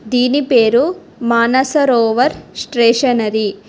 దీని పేరు మానసరోవర్ స్టేషనరీ .